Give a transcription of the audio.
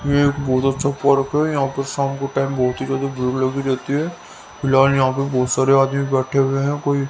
यह एक बहुत अच्छा पार्क है यहां पर शाम को टाइम बहुत ही ज्यादा भेड़ लगी रहती है फिलहाल यहां पर बहुत सारे आदमी बैठे हुए हैं कोई --